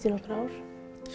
í nokkur ár